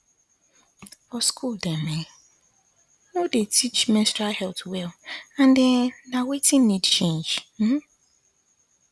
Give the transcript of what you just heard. for school dem um no dey teach menstrual health well and um na wetin need change um